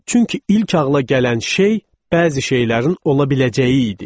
Çünki ilk ağla gələn şey bəzi şeylərin ola biləcəyi idi.